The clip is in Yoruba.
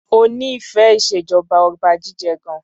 O nífẹẹ ìṣèjọba Ọba jíjẹ gan.